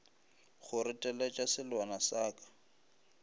go reteletša selwana sa ka